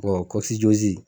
Bɔn kɔcijozi